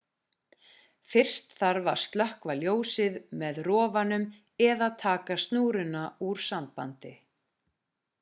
fyrst þarf að slökkva ljósið með rofanum eða taka snúruna úr sambandi